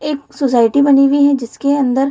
एक सोसाइटी बनी हुई है जिसके अंदर --